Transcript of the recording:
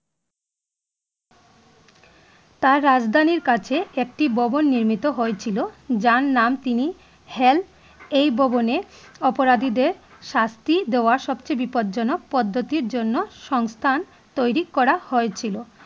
তার রাজধানীর কাছে একটি ভবন নির্মিত হয়েছিল যার নাম তিনি hell এই ভবনে অপরাধীদের শাস্তি দেওয়া সবচেয়ে বিপদজনক পদ্ধতির জন্য সংস্থান তৈরী করা হয়েছিল